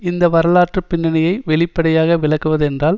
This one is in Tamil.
இந்த வரலாற்று பின்னணியை வெளிப்படையாக விளக்குவதென்றால்